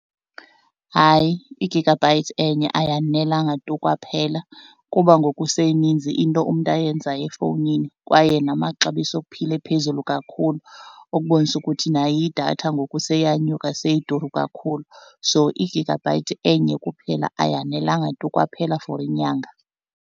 Hayi, igigabhayithi enye ayanelanga tu kwaphela kuba ngoku seyininzi into umntu ayenzayo efowunini kwaye namaxabiso okuphila ephezulu kakhulu ukubonisa ukuthi nayo idatha ngoku seyanyuka seyiduru kakhulu. So igigabhayithi enye kuphela ayanelanga tu kwaphela for inyanga.